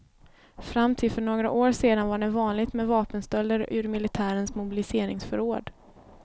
Fram till för några år sedan var det vanligt med vapenstölder ur militärens mobiliseringsförråd.